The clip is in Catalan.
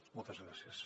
moltes gràcies